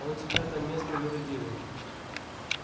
он теперь там местный юродивый